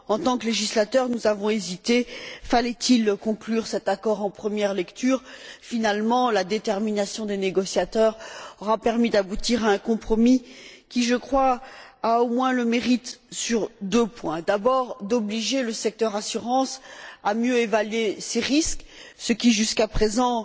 En tant que législateurs, nous avons hésité fallait il conclure cet accord en première lecture? Finalement, la détermination des négociateurs aura permis d'aboutir à un compromis qui, je crois, a au moins un double mérite d'abord, obliger le secteur de l'assurance à mieux évaluer ses risques, ce qui, jusqu'à présent,